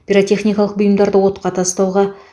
пиротехникалық бұйымдарды отқа тастауға